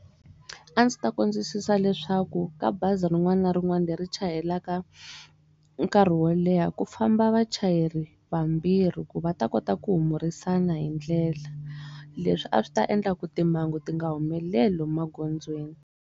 A ndzi ta kombisa leswaku ka bazi rin'wana na rin'wana leri chayelaka nkarhi wo leha ku famba vachayeri vambirhi ku va ta kota ku humurisana hindlela leswi a swi ta endla ku timhangu ti nga humeleli maghondzweni.